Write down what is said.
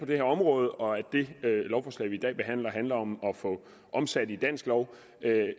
det her område og at det lovforslag vi i dag behandler handler om at få omsat i dansk lov